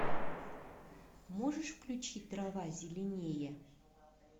можешь включить трава зеленее